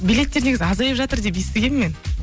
билеттер негізі азайып жатыр деп естігенмін мен